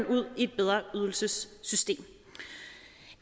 ud i et bedre ydelsessystem